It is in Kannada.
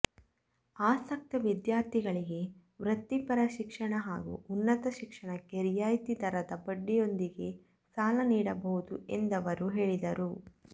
ಆಸಕ್ತ ವಿದ್ಯಾರ್ಥಿಗಳಿಗೆ ವೃತ್ತಿಪರ ಶಿಕ್ಷಣ ಹಾಗೂ ಉನ್ನತ ಶಿಕ್ಷಣಕ್ಕೆ ರಿಯಾಯಿತಿ ದರದ ಬಡ್ಡಿಯೊಂದಿಗೆ ಸಾಲ ನೀಡಬಹುದು ಎಂದವರು ಹೇಳಿದರು